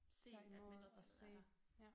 Tage imod og se ja